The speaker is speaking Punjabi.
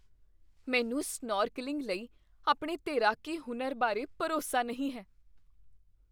ਮੈਨੂੰ ਸਨੌਰਕਲਿੰਗ ਲਈ ਆਪਣੇ ਤੈਰਾਕੀ ਹੁਨਰ ਬਾਰੇ ਭਰੋਸਾ ਨਹੀਂ ਹੈ।